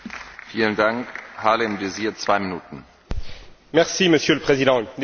Monsieur le Président, il est difficile de ne pas cacher sa déception à l'issue de ce sommet.